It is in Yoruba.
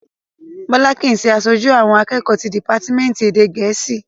Bọ́lá kìí ṣe aṣojú àwọn akẹ́kọ̀ọ́ ti dìpátímẹ́ǹtì èdè gẹ̀ẹ́sì